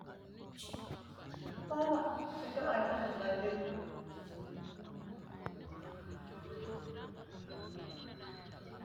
Mannu ganba yee kaaliqansa ayiirisanni leelanno base hiitoote tenne basera leelano wedeli uddire leelanno uddanoti dani hiitooho insa noo hijaari hiitooho